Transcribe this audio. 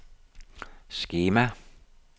skema